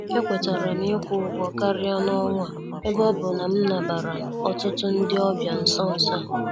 E kwetaram ikwu ụgwọ karịa n' ọnwa a ebe ọbụ nam nabara ọtụtụ ndị ọbịa n' nsọ nsọ a.